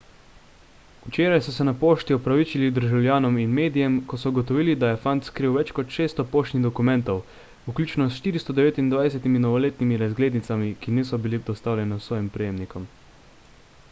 včeraj so se na pošti opravičili državljanom in medijem ko so ugotovili da je fant skril več kot 600 poštnih dokumentov vključno s 429 novoletnimi razglednicami ki niso bili dostavljene svojim prejemnikom